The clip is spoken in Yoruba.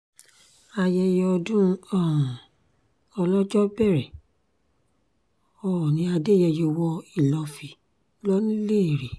ayẹyẹ ọdún um ọlọ́jọ́ bẹ̀rẹ̀ oòní adẹ́yẹyẹ wọ ìlọ́fì lọ́niléèrè